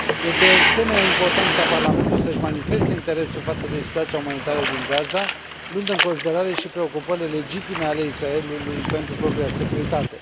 Este, de asemenea, important ca Parlamentul să și manifeste interesul față de situația umanitară din Gaza, luând în considerare și preocupările legitime ale Israelului pentru propria securitate.